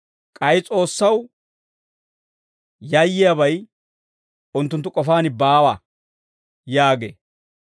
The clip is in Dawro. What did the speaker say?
K'ay S'oossaw yayyiyaabay, unttunttu k'ofaan baawa» yaagee.